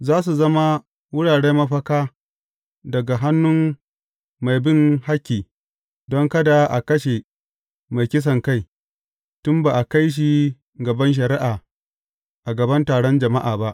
Za su zama wuraren mafaka daga hannun mai bin hakki, don kada a kashe mai kisankai, tun ba a kai shi gaban shari’a, a gaban taron jama’a ba.